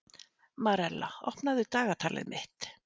Marella, opnaðu dagatalið mitt.